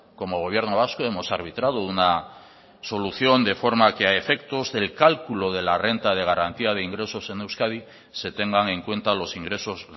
como gobierno vasco hemos arbitrado una solución de forma que a efectos del cálculo de la renta de garantía de ingresos en euskadi se tengan en cuenta los ingresos